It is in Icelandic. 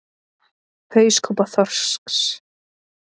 Hauskúpa þorsks.